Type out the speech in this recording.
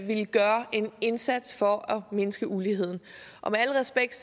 vil gøre en indsats for at mindske uligheden og med al respekt